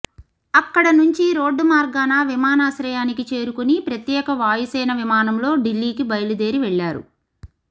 అక్కడ నుంచి రోడ్డుమార్గాన విమానాశ్రయానికి చేరుకొని ప్రత్యేక వాయుసేన విమానంలో ఢిల్లీకి బయలుదేరివెళ్లారు